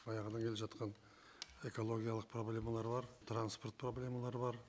баяғыдан келе жатқан экологиялық проблемалар бар транспорт проблемалары бар